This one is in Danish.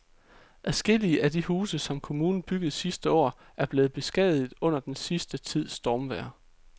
Adskillige af de huse, som kommunen byggede sidste år, er blevet beskadiget under den sidste tids stormvejr.